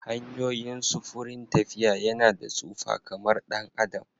Hanyoyin sufurin tafiya yana da tsufa kamar ɗan adam